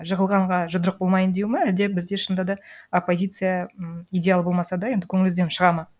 жығылғанға жұдырық болмайын деу ма әлде бізде шынында да оппозиция м идеал болмаса да енді көңіліңізден шығады ма